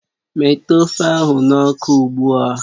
Metụ ofe ahụ n'ọkụ ugbu a!